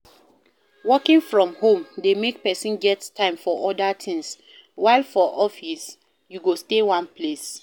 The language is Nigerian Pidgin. Working from home de make persin get time for other things while for office you go stay one place